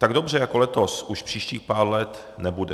Tak dobře jako letos už příštích pár let nebude.